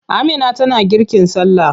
Amina tana girkin sallah.